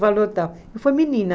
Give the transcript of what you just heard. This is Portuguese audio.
E foi menina.